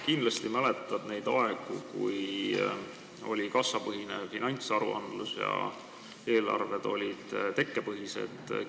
Kindlasti mäletad neid aegu, kui oli kassapõhine finantsaruandlus ja eelarved olid tekkepõhised.